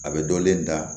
A bɛ dɔlen da